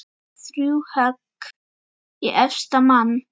Þrjú högg í efsta mann.